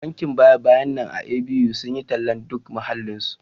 Bankin baya-bayan nan a A.B.U sun yi tallar duk muhallinsu